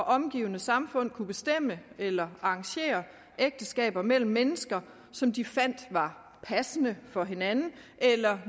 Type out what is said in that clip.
omgivende samfund kunne bestemme eller arrangere ægteskaber mellem mennesker som de fandt var passende for hinanden eller